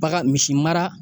Baga misi mara